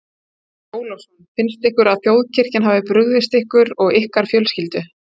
Andri Ólafsson: Finnst ykkur að þjóðkirkjan hafi brugðist ykkur og ykkar fjölskyldu?